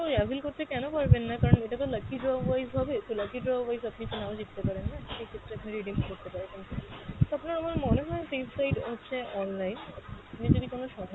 ওই avail করতে কেন পারবেন না, কারন এটা তো lucky draw wise হবে, তো lucky draw wise আপনি তো না ও জিততে পারেন না, সেক্ষেত্রে আপনি redeem করতে পারবেন না। তো আপনার আমার মনে হয় safe side হচ্ছে online আপনি যদি কোনো সময়